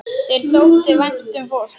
Þér þótti vænt um fólk.